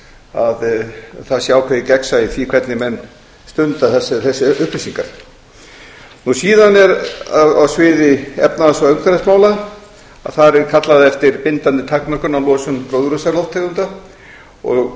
að það sé ákvðeið gegnsæi í því vhenrig menn stunda þessa upplýsingar síðan er á sviði efnahags ég umhverfismála að þar er kallað eftir bindandi takmörkunum á losun gróðurhúsalofttegunda og